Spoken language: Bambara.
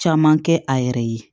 Caman kɛ a yɛrɛ ye